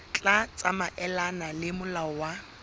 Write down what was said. tla tsamaelana le molao wa